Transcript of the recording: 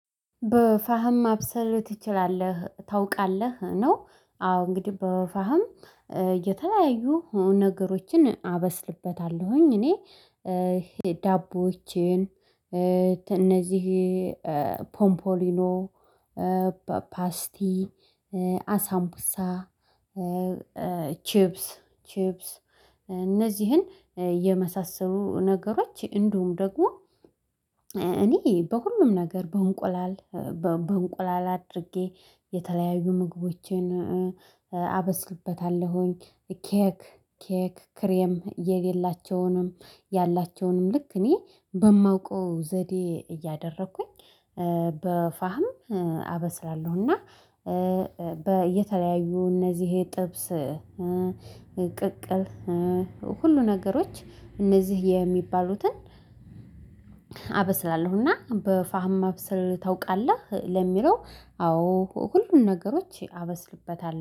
በፋህም ማብሰል ትችላለህ ታውቃለህ ነው? አዎ እንግዲህ በፋህም የተለያዩ ነገሮችን አበስልበታለሁኝ እኔ ዳቦዎቼን እነዚህ ፖምፖሊኖ ፓስቲ አሳምቡሳ ቺፕስ ቺፕስ። እነዚህን የመሳሰሉ ነገሮች እንዲሁም ደግሞ እኔ በሁሉም ነገር በእንቁላል በእንቁላል አድርጌ የተለያዩ ምግቦቼን አበስልበታለሁኝ። ኬክ ኬክ ክሬም የሌላቸውንም ያላቸውንም ልክ እኔ በማውቀው ዘዴ እያደረኩኝ በፋህም አበስላለሁና። በየተለያዩ እነዚህ የጥብስ ቅቅል ሁሉ ነገሮች እነዚህ የሚባሉትን አበስላለሁና። በፋህም ማብሰል ታውቃለህ? ለሚለው አዎ ሁሉን ነገሮች አበስልበታለው